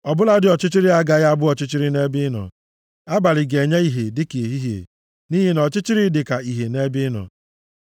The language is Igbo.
Ọ bụladị ọchịchịrị agaghị abụ ọchịchịrị nʼebe ị nọ; abalị ga-enye ìhè dịka ehihie, nʼihi na ọchịchịrị dị ka ìhè nʼebe ị nọ. + 139:12 \+xt Job 26:6; Job 34:22; Hib 4:13\+xt*